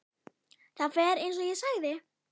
Það fer eins og ég sagði.